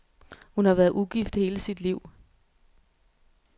Hun har været ugift hele sit liv.